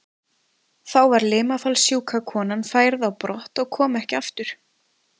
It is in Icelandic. Þá var limafallssjúka konan færð á brott og kom ekki aftur.